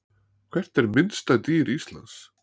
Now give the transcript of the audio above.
Hvert er minnsta dýr Íslands?